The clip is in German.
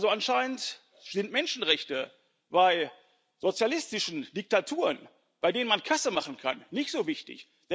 Anscheinend sind Menschenrechte bei sozialistischen Diktaturen, bei denen man Kasse machen kann, nicht so wichtig.